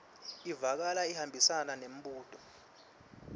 ivakala ihambisana nembuto